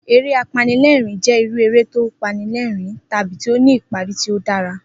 Eré apanilé̩rìn-ín jé̩ irú eré tí ó panilé̩rìn-ín tàbí tí ó ní ìparí tí ó dára